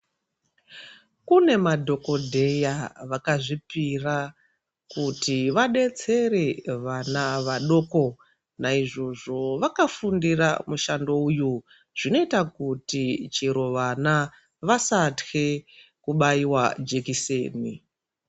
Kune madhokodheya vakazvipira kuti vadetsere vana vadoko naizvozvo vakafundira mushando uyu zvinoita kuti chero vana vasatye kubairwa jekiseni.